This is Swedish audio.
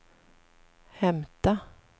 hämta